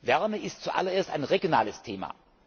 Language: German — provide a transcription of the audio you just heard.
Wärme ist zuallererst ein regionales Thema.